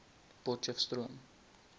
potcheftsroom